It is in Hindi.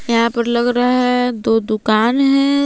यहां पर लग रहा है दो दुकान हैं।